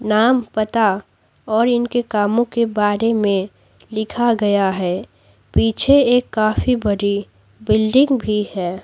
नाम पता और इनके कामों के बारे में लिखा गया है पीछे एक काफी बड़ी बिल्डिंग भी है।